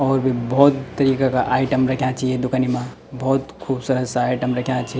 और भी भोत तरीका का आइटम रख्याँ छी ये दुकनी मा भोत खुबसूरत सा आइटम रख्याँ छी।